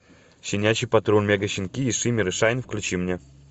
щенячий патруль мегащенки и шиммер и шайн включи мне